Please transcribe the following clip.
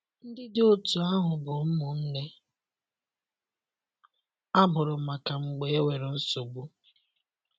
Ndị dị otú ahụ bụ ụmụnne “ a mụrụ maka mgbe enwere nsogbu.